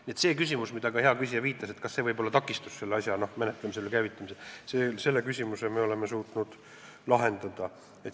Nii et selle küsimuse, millele ka hea küsija viitas – kas see võib olla takistus selle asja menetlemisel ja käivitamisel –, me oleme suutnud lahendada.